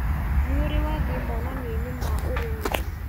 Nĩũrĩ wathĩi monanioinĩ ma ũrĩmi.